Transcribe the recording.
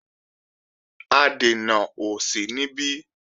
Adènà ò sí níbí